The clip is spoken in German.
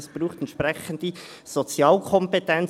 Das braucht entsprechende Sozialkompetenz.